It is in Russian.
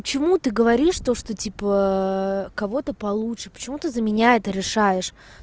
почему ты говоришь то что типа кого-то получше почему ты за меня это решаешь